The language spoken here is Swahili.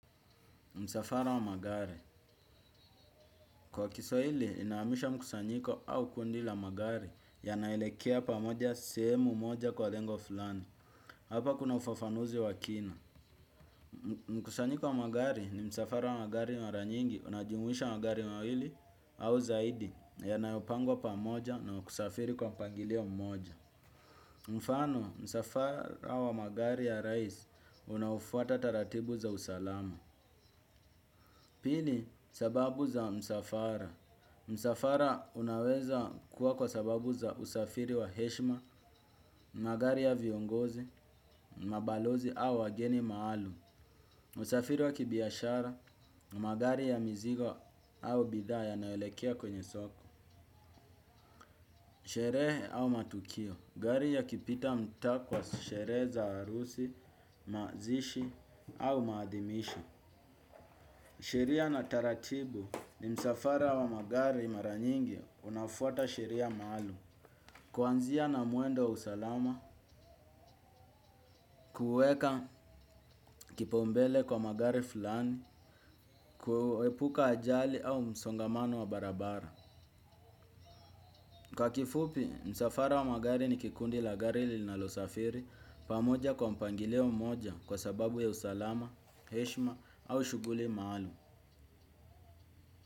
Msafara wa magari. Kwa kiswahili, inaamisha mkusanyiko au kundi la magari yanaelekea pamoja sehemu moja kwa lengo fulani. Hapa kuna ufafanuzi wa kina. Mkusanyiko wa magari ni msafara wa magari mara nyingi, unajimuisha magari mawili au zaidi yanayopangwa pamoja na kusafiri kwa mpagilio mmoja. Mfano, msafara wa magari ya rais, unaofuata taratibu za usalama. Pili, sababu za msafara. Msafara unaweza kuwa kwa sababu za usafiri wa heshma, magari ya viongozi, mabalozi au wageni maalum. Usafiri wa kibiashara, magari ya mizigo au bidhaa yanaelekea kwenye soko. Sherehe au matukio, gari ya kipita mta kwa sherehe za arusi, mazishi au maadhimisho. Sheria na taratibu ni msafara wa magari mara nyingi unafuata sheria maalum. Kuanzia na mwendoaw usalama, kuweka kipaumbele kwa magari fulani, kuepuka ajali au msongamano wa barabara. Kwa kifupi, msafara wa magari ni kikundi la gari linalo safiri pamoja kwa mpangilio moja kwa sababu ya usalama, heshma au shuguli maalum.